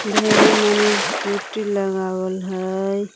ढेरे मने स्कूटी लगावल हइ।